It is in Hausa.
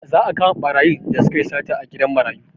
Za a kama ɓarayin da sukayi sata a gidan marayu